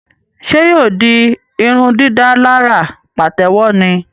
Ṣe yóò di irundidalara patewo ní?